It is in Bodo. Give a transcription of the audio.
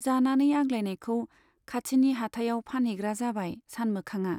जानानै आग्लायनायखौ खाथिनि हाटाइयाव फानहैग्रा जाबाय सानमोखांआ।